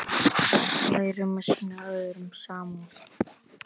Lærum að sýna öðrum samúð.